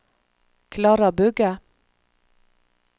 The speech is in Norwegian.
Klara Bugge